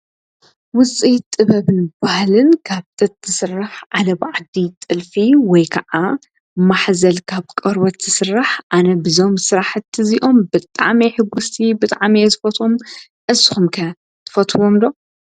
ውፅኢት ጥበብን ባህልን ካብ ጥጥ ትስራሕ ዓለባ ዓዲ ወይ ከዓ ጥልፊ፣ ማሕዘል ካብ ቆርበት ይስራሕ። ኣነ በዞም ስራሕቲ ብጣዕሚ እየ ሕጉስቲ በጣዕሚ እየ ዝፈትዎም። ንስኩም ከ ትፈትውዎም ዶ?